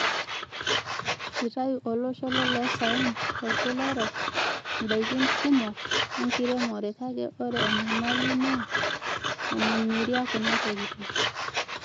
Itayu olosho loloosaen lolkila orok indaakin kumok enkiremore kake ore enyamali naa enemiria kuna tokitin.